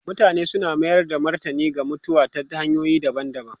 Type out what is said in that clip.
Mutane suna mayar da martani ga mutuwa ta hanyoyi daban-daban.